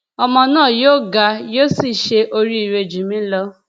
ọmọ náà yóò ga yóò sì ṣe oríire jù mí lọ